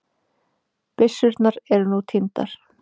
Byssurnar eru nú týndar